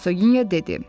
Hersoginya dedi.